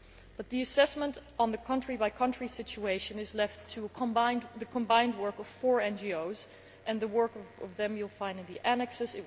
But the assessment on the country by country situation is left to the combined work of four NGOs and the work of them you will find in the annexes.